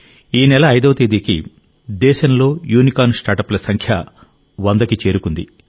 ఈ నెల 5వ తేదీకి దేశంలో యూనికార్న్ స్టార్టప్ ల సంఖ్య 100కి చేరుకుంది